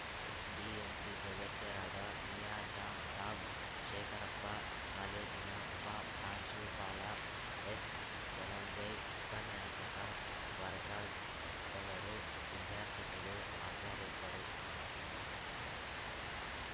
SDMC ಸದಸ್ಯರಾದ ಮಿಯಾಜಾಮ್ ಸಾಬ್‌ ಶೇಖರಪ್ಪ ಕಾಲೇಜಿನ ಉಪ ಪ್ರಾಂಶುಪಾಲ ಎಸ್‌ ಧನಂಜಯ್‌ ಉಪನ್ಯಾಸಕ ವರ್ಗವದರುವಿದ್ಯಾರ್ಥಿಗಳು ಹಾಜರಿದ್ದರು